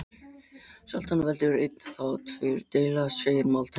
Sjaldan veldur einn þá tveir deila, segir máltækið.